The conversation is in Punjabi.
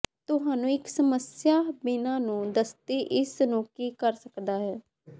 ਤੁਹਾਨੂੰ ਇੱਕ ਸਮੱਸਿਆ ਬਿਨਾ ਨੂੰ ਦਸਤੀ ਇਸ ਨੂੰ ਕੀ ਕਰ ਸਕਦਾ ਹੈ